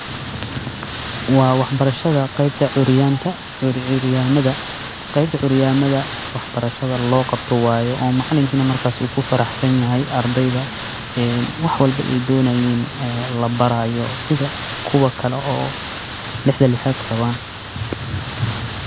Wa waxbarasha qeybta curyadama qeybta curyamada wax barashada loqabto waye macalinkan uu kufaraxsanyahay ee wax walbo ey donayin labarayo sida kuwa kale ee lixda lixaad qawan.